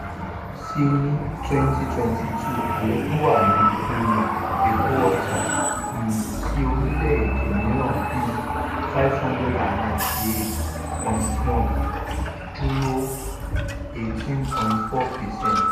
sí ní twenty twenty two àlékún wà ní um ìkó ọjà um sí orílẹ̀ èdè mìíràn bí five hundred and ninety eight point one dúró eighteen point four percent